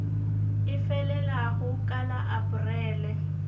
e felago ka la aprele